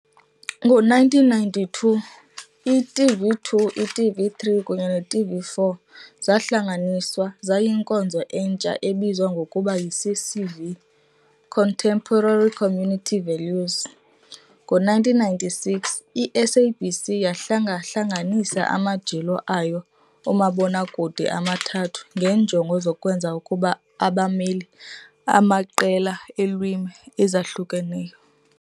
Ngo-1992, i-TV2, i-TV3 kunye ne-TV4 zahlanganiswa zayinkonzo entsha ebizwa ngokuba yiCCV, Contemporary Community Values. Ngo-1996, i-SABC yahlengahlengisa amajelo ayo omabonakude amathathu ngeenjongo zokwenza ukuba abamele amaqela eelwimi ezahlukeneyo.